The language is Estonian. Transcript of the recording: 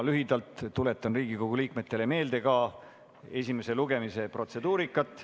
Lühidalt tuletan Riigikogu liikmetele meelde esimese lugemise protseduurikat.